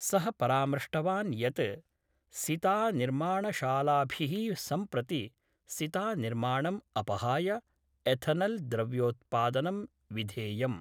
स: परामृष्टवान् यत् सितानिर्माणशालाभिः सम्प्रति सितानिर्माणम् अपहाय एथनल् द्रव्योत्पादनं विधेयम्।